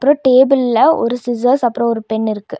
டேபிள்ல ஒரு சிசர்ஸ் அப்றோ ஒரு பென் இருக்கு.